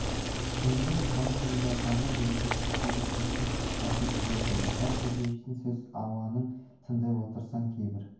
шынында да соңғы жылдардағы берекесіз тірлік қатты титықтатып жіберді михаил сергеевичтің сөз ауанын тыңдап отырсаң кейбір